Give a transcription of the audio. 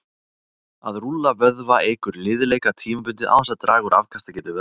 að rúlla vöðva eykur liðleika tímabundið án þess að draga úr afkastagetu vöðva